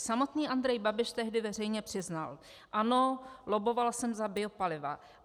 Samotný Andrej Babiš tehdy veřejně přiznal: "Ano, lobboval jsem za biopaliva.